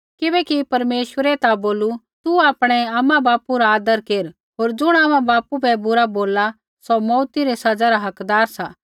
किबैकि परमेश्वरै ता बोलू तू आपणै आमाबापू रा आदर केर होर ज़ुण आमाबापू बै बुरा बोलला सौ मौऊत री सज़ा रा हकदार सा